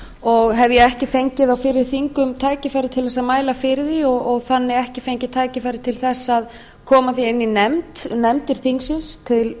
og hef ég ekki fengið á fyrri þingum tækifæri til þess að mæla fyrir því og þannig ekki fengið tækifæri til þess að koma því inn í nefndir þingsins til